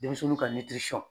Denmisɛnninw ka